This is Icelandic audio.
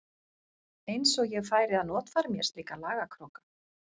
Eins og ég færi að notfæra mér slíka lagakróka.